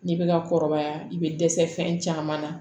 N'i bɛ ka kɔrɔbaya i bɛ dɛsɛ fɛn caman na